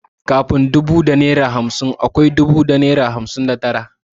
Kafin dubu da naira hamsin akwai dubu da naira arbanin da tara.